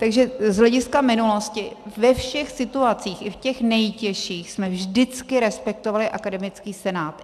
Takže z hlediska minulosti ve všech situacích, i v těch nejtěžších, jsme vždycky respektovali akademický senát.